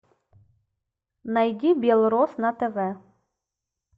найди белрос на тв